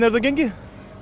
þetta gengið